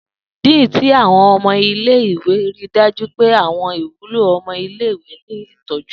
Dean ti Awọn ọmọ ile-iwe rii daju pe awọn iwulo ọmọ ile-iwe ni itọju